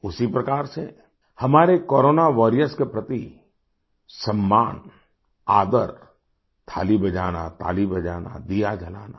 उसी प्रकार से हमारे कोरोना वॉरियर्स के प्रति सम्मान आदर थाली बजाना ताली बजाना दिया जलाना